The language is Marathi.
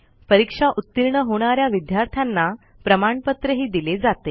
परीक्षा उतीर्ण होणा या विद्यार्थ्यांना प्रमाणपत्रही दिले जाते